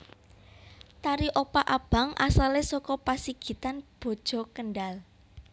Tari Opak Abang asalé saka Pasigitan Boja Kendhal